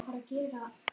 spurði konan.